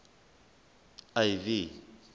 ivy